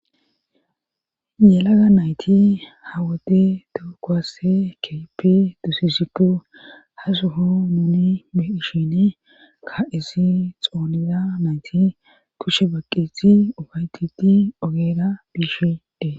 Yelaga nayti hawode tokowasse keepi dusisiku ha suho muuni ishini ka isi xooniza nayti kushe baqiti ogaytiti ogeera biishide